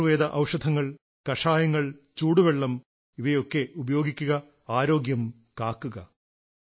ആയുർവ്വേദ ഔഷധങ്ങൾ കഷായങ്ങൾ ചൂടുവെള്ളം ഇവയൊക്കെ ഉപയോഗിക്കുക ആരോഗ്യം കാക്കുക